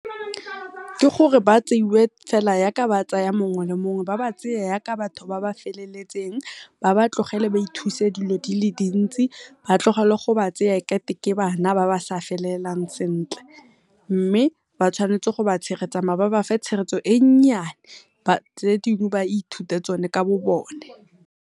Ke gore ba tseiwe fela yaka ba tsaya mongwe le mongwe ba ba tseye yaka batho ba ba feleletseng, ba ba tlogele ba ithuse dilo dile dintsi, batlogele go ba tseya e kate ke bana ba ba sa felelelang sentle. Mme ba tshwanetse go ba tshegetsa mara ba bafe tshegetso e nnyane, tse dingwe ba ithute tsone ka bo bone.